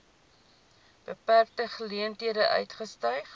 beperkte geleenthede uitgestyg